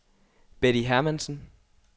Betty Hermansen